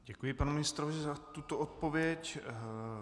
Děkuji panu ministrovi za tuto odpověď.